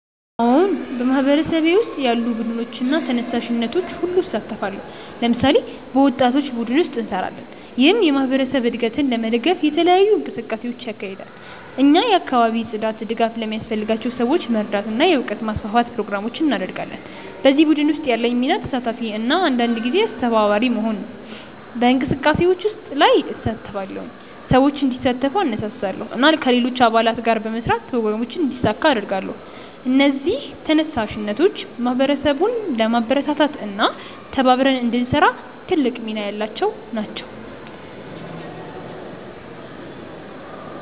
አዎን፣ በማህበረሰቤ ውስጥ ያሉ ቡድኖችና ተነሳሽነቶች ውስጥ እሳተፋለሁ። ለምሳሌ፣ በወጣቶች ቡድን ውስጥ እንሰራለን፣ ይህም የማህበረሰብ እድገትን ለመደገፍ የተለያዩ እንቅስቃሴዎችን ያካሂዳል። እኛ የአካባቢ ጽዳት፣ ድጋፍ ለሚያስፈልጋቸው ሰዎች መርዳት እና የእውቀት ማስፋፋት ፕሮግራሞችን እናደርጋለን። በዚህ ቡድን ውስጥ ያለኝ ሚና ተሳታፊ እና አንዳንድ ጊዜ አስተባባሪ መሆን ነው። በእንቅስቃሴዎች ላይ እሳተፋለሁ፣ ሰዎችን እንዲሳተፉ እነሳሳለሁ እና ከሌሎች አባላት ጋር በመስራት ፕሮግራሞችን እንዲሳካ እረዳለሁ። እነዚህ ተነሳሽነቶች ማህበረሰቡን ለማበረታታት እና ተባብረን እንድንሰራ ትልቅ ሚና ያላቸው ናቸው።